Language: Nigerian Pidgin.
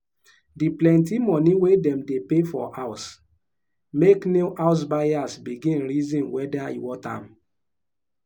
she divide her spending into savings chop enjoyment transport and any surprise wey fit show.